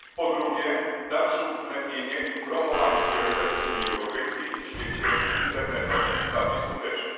Po drugie, dalsze uwzględnienie i promowanie priorytetów Unii Europejskiej w świecie internetowym, bardziej skuteczne.